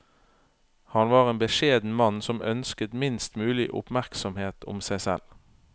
Han var en beskjeden mann som ønsket minst mulig oppmerksomhet om seg selv.